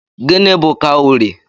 Gịnị bu kawurii?